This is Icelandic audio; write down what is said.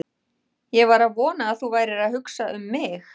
Ég var að vona að þú værir að hugsa um mig!